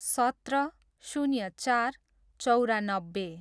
सत्र, शून्य चार, चौरानब्बे